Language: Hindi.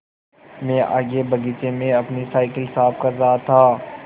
मैं आगे बगीचे में अपनी साईकिल साफ़ कर रहा था